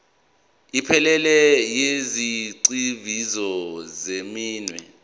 ephelele yezigxivizo zeminwe